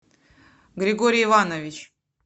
григорий иванович